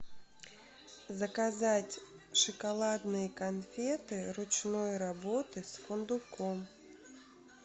заказать шоколадные конфеты ручной работы с фундуком